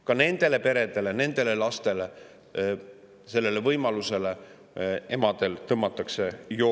Ka nendele peredele, lastele ja emade sellele võimalusele tõmmatakse kriips peale.